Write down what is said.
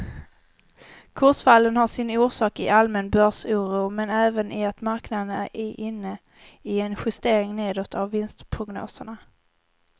Kursfallen har sin orsak i allmän börsoro men även i att marknaden är inne i en justering nedåt av vinstprognoserna.